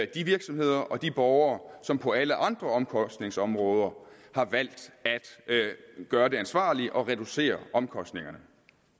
de virksomheder og de borgere som på alle andre omkostningsområder har valgt at gøre det ansvarlige og reducere omkostningerne